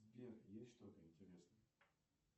сбер есть что то интересное